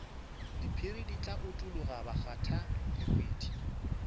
diphiri di tla utologa bakgathalehwiti